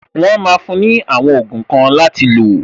Wọn máa fún ní àwọn ogun kan láti lo